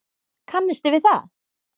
Kannisti við það!